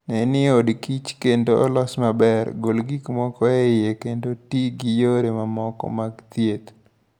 Ne ni odkich kichr kendo olos maber, gol gik moko e iye, kendo ti gi yore moko mag thieth